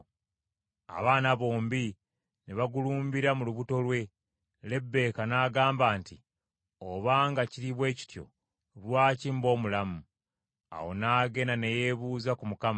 Abaana bombi ne bagulumbira mu lubuto lwe, Lebbeeka n’agamba nti, “Obanga kiri bwe kityo, lwaki mba omulamu?” Awo n’agenda ne yeebuuza ku Mukama .